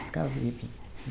Ficava bebinho.